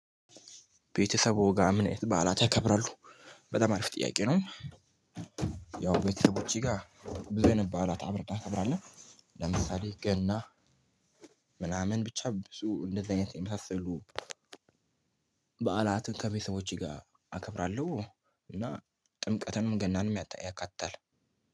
ቤተሰብዎ ጋር ምን አይነት በዓላት ያከብራሉ? በጣም አሪፍ ጥያቄ ነው። ያው ቤተሰቦቼ ጋር ብዙ አይነት በዓላት አብረን እናከብራለን። ለምሳሌ ገና ምናምን ብቻ ብዙ እንደዚህ አይነት የመሳሰሉ። በዓላትን ከቤተሰቦቼ ጋር አከብራለሁ። እና ጥምቀትንም ገናንም ያቃጥል